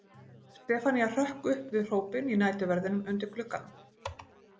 Stefanía hrökk upp við hrópin í næturverðinum undir glugganum.